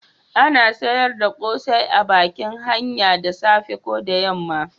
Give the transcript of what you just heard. A na sayar da kosai a bakin hanya da safe ko yamma